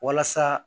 Walasa